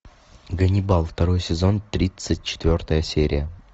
ганнибал второй сезон тридцать четвертая серия